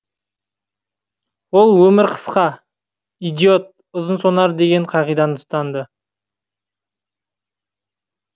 ол өмір қысқа идиот ұзын сонар деген қағиданы ұстанды